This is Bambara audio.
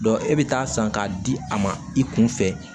e bɛ taa san k'a di a ma i kun fɛ